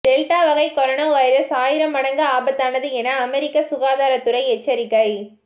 delta வகை corona virus ஆயிரம் மடங்கு ஆபத்தானது என அமெரிக்க சுகாதாரத்துறை எச்சரிக்கை